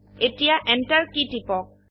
এতিয়া enter key টিপক